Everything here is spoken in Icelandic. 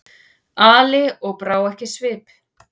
Ali og brá ekki svip.